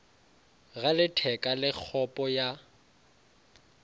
ga letheka le kgopo ya